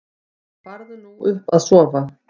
Farðu nú upp að sofa.